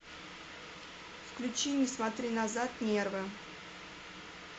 включи не смотри назад нервы